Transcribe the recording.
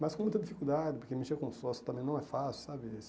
Mas com muita dificuldade, porque mexer com um sócio também não é fácil, sabe?